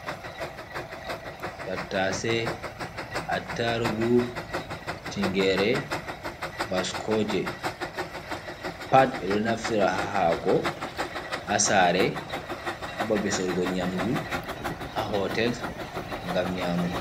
Tattase, attarugu, tingere, baskoje pat ɓeɗo naftira ha haako, ha sare, ha babe sorugo nyamdu, ha hotels ngam nyamuki.